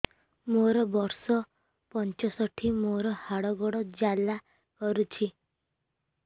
ମୋର ବର୍ଷ ପଞ୍ଚଷଠି ମୋର ହାତ ଗୋଡ଼ ଜାଲା କରୁଛି